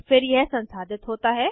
और फिर यह संसाधित होता है